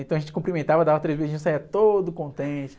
Então a gente cumprimentava, dava três beijinhos, saia todo contente